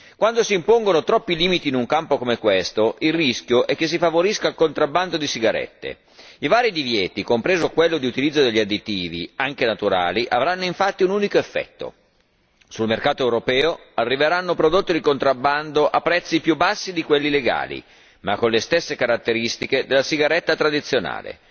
Quando si impongono troppi limiti in un campo come questo, il rischio è che si favorisca il contrabbando di sigarette. I vari divieti, compreso quello di utilizzo degli additivi, anche naturali, avranno infatti un unico effetto sul mercato europeo arriveranno prodotti di contrabbando a prezzi più bassi di quelli legali, ma con le stesse caratteristiche della sigaretta tradizionale.